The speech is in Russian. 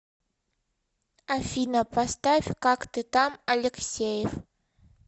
афина поставь как ты там алексеев